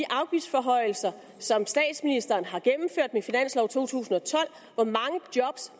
afgiftsforhøjelser som statsministeren har gennemført med finanslov 2012 hvor mange job